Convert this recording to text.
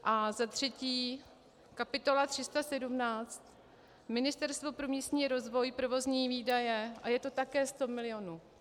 A za třetí kapitola 317 Ministerstvo pro místní rozvoj, provozní výdaje, a je to také 100 milionů.